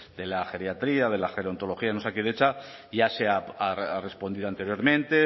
de la geriatría de la gerontología en osakidetza ya se ha respondido anteriormente